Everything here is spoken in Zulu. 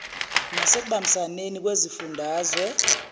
nase kubambisaneni kwezifundazwe